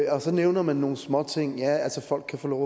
og så nævner man nogle småting altså at folk kan få lov